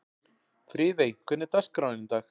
Friðey, hvernig er dagskráin í dag?